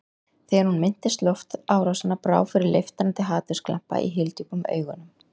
Þegar hún minntist loftárásanna brá fyrir leiftrandi hatursglampa í hyldjúpum augunum.